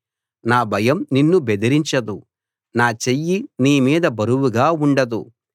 నా భయం నిన్ను బెదిరించదు నా చెయ్యి నీ మీద బరువుగా ఉండదు